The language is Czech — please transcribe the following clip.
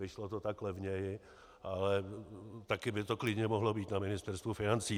Vyšlo to tak levněji, ale taky by to klidně mohlo být na Ministerstvu financí.